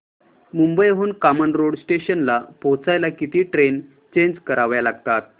मुंबई हून कामन रोड स्टेशनला पोहचायला किती ट्रेन चेंज कराव्या लागतात